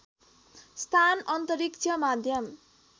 स्थान अन्तरिक्ष माध्यम